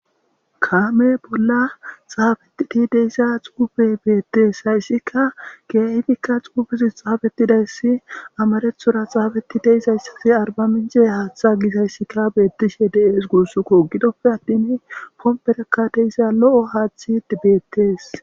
Kaame bolla xaabetti de'isa xuufe beettes hayssika geeifikka xuufuzi xaabetidayssi amarethora xaabeti deisayssasi arba mince haaththa gisayssikka beettishe deees guussukko gidoppe attin pomperekkadeisa lo7o haaththi beettees.